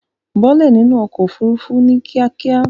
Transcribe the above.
Bọ́ọ́lẹ̀ nínú ọkọ̀ òfurufú ní kíákíá.